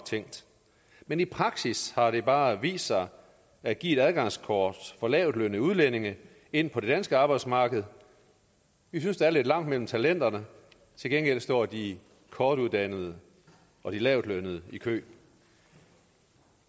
men i praksis har det bare vist sig at give et adgangskort for lavtlønnede udlændinge ind på det danske arbejdsmarked vi synes der er lidt langt mellem talenterne til gengæld står de kortuddannede og de lavtlønnede i kø